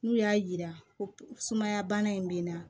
N'u y'a yira ko sumaya bana in bɛ n na